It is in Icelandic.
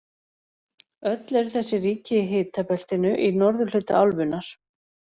Öll eru þessi ríki í hitabeltinu í norðurhluta álfunnar.